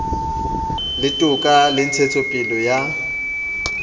la toka le ntshetsopele ya